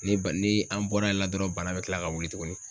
Ne ba ni an bɔra yen la dɔrɔn ,bana be kila ka wuli tuguni.